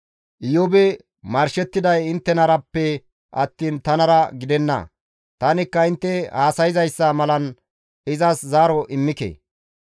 Iyoobi marshettiday inttenarappe attiin tanara gidenna; tanikka intte haasayzayssa malan izas zaaro immike.